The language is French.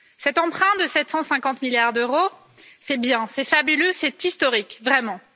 Cet emprunt de 750 milliards d'euros, c'est bien, c'est fabuleux, c'est historique, vraiment.